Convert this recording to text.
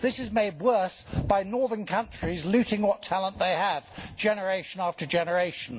This is made worse by northern countries looting what talent they have, generation after generation.